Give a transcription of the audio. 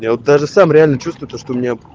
я вот даже сам реально чувствую то что у меня